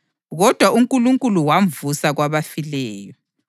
Kodwa uNkulunkulu wamvusa kwabafileyo,